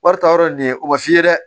Wari ta yɔrɔ ye nin ye o ma f'i ye dɛ